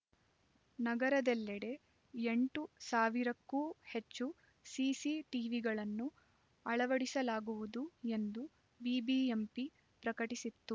ನಗರದೆಲ್ಲೆಡೆ ಎಂಟು ಸಾವಿರಕ್ಕೂ ಹೆಚ್ಚು ಸಿಸಿ ಟಿವಿಗಳನ್ನು ಅಳವಡಿಸಲಾಗುವುದು ಎಂದು ಬಿಬಿಎಂಪಿ ಪ್ರಕಟಿಸಿತ್ತು